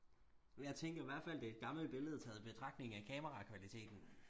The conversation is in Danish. jeg tænker i hvertfald det er et gammelt billede taget betragtning af kamerakvaliteten